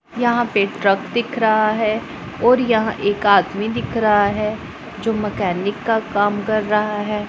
यहां पे ट्रक दिख रहा है और यहां एक आदमी दिख रहा है जो मैकेनिक का काम कर रहा है।